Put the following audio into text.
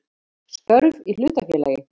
Störf í hlutafélagi.